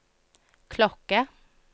klokke